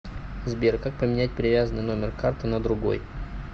сбер как поменять привязанный номер карты на другой